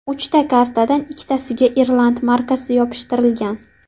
Uchta konvertdan ikkitasiga irland markasi yopishtirilgan.